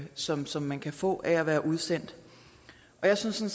som som man kan få af at være udsendt og jeg synes